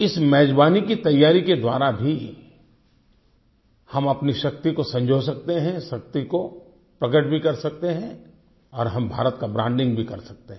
इस मेज़बानी की तैयारी के द्वारा भी हम अपनी शक्ति को सजो सकते हैं शक्ति को प्रकट भी कर सकते हैं और हम भारत का ब्रांडिंग भी कर सकते हैं